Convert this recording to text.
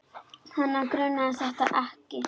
Hana grunaði þetta ekki.